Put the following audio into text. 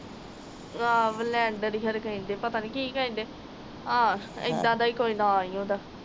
ਆਹ ਬਲੈਂਡਰ ਹੀ ਖਨੀ ਕਹਿੰਦੇ ਪਤਾ ਨੀ ਕਿ ਕਹਿੰਦੇ ਆ ਏਦਾਂ ਦਾ ਹੀ ਨਾਂ ਕੋਈ ਓਹਦਾ